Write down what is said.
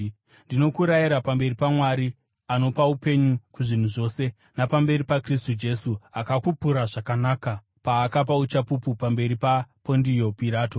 Ndinokurayira, pamberi paMwari, anopa upenyu kuzvinhu zvose, napamberi paKristu Jesu akapupura zvakanaka paakapa uchapupu pamberi paPondio Pirato,